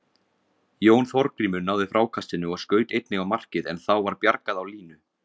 Jón Þorgrímur náði frákastinu og skaut einnig á markið en þá var bjargað á línu.